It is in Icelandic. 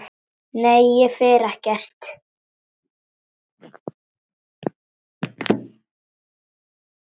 Nei, ég fer ekkert.